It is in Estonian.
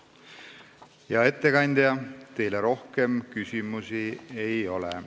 Hea ettekandja, teile rohkem küsimusi ei ole.